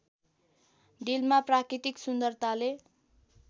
डिलमा प्राकृतिक सुन्दरताले